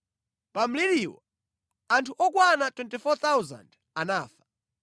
Pa mliriwo, anthu okwana 24,000 anafa.